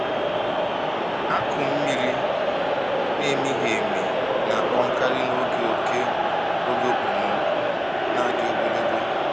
Akụ mmiri na-emighị emi na-akpọnkarị n’oge oké oge okpomọkụ na-adị ogologo.